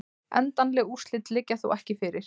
Endanleg úrslit liggja þó ekki fyrir